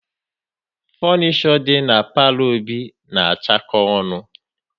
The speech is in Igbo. Funisho dị na palo Obi na achako ọnụ